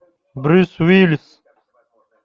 брюс уиллис